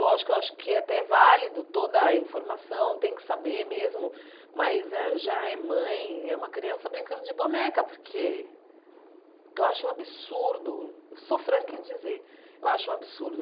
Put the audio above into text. Lógico, eu acho que é até válido toda a informação, tem que saber mesmo, mas já é mãe, é uma criança brincando de boneca, porque eu acho um absurdo, sou franca em dizer, eu acho um absurdo.